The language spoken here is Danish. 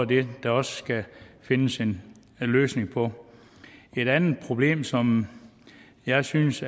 det der også skal findes en løsning på et andet problem som jeg synes